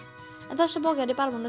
en þessa bók er ég bara búin